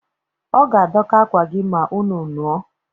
Ọ ga-adọka akwa gị ma unu nuo